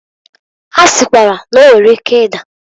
Ha sikwara na- o nwere ike ida.